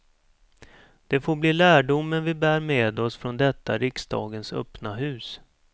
Det får bli lärdomen vi bär med oss från detta riksdagens öppna hus.